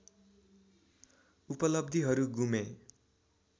उपलब्धिहरू गुमे